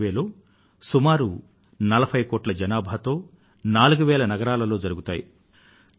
ఈ సర్వేక్షణలు సుమారు 40 కోట్ల జనాభాలో నాలుగు వేలకు పైగా నగరాలలో జరుగుతాయి